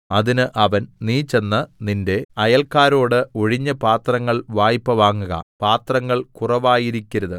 അതിന് അവൻ നീ ചെന്ന് നിന്റെ അയല്ക്കാരോട് ഒഴിഞ്ഞ പാത്രങ്ങൾ വായ്പ വാങ്ങുക പാത്രങ്ങൾ കുറവായിരിക്കരുത്